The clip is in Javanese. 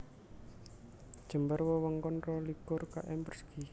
Jembar wewengkon rolikur km persegi